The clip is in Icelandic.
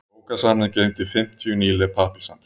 Bókasafnið geymdi fimmtíu nýleg pappírshandrit.